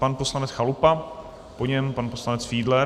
Pan poslanec Chalupa, po něm pan poslanec Fiedler.